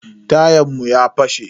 Tayan mu ya fashe.